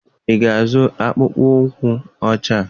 Ị ga-azụ akpụkpọ ụkwụ ọcha?